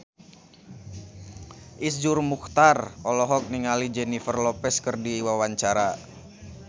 Iszur Muchtar olohok ningali Jennifer Lopez keur diwawancara